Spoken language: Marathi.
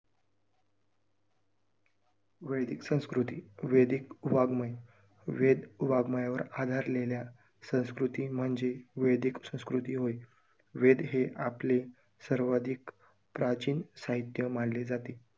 वैदिक संस्कृती, वैदिक वाङमय, वेद वाङमयावर आधारलेल्या संस्कृती म्हणजे वैधिक संस्कृती होय, वेद हे आपले सर्वाधिक प्राचीन साहित्य मानले जाते.